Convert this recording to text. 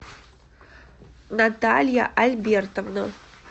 наталья альбертовна